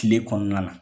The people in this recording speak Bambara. Kile kɔnɔna na